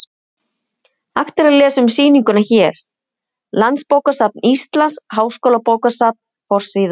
Hægt er að lesa um sýninguna hér: Landsbókasafn Íslands- Háskólabókasafn: Forsíða.